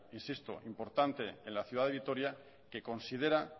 importante en la ciudad de vitoria que considera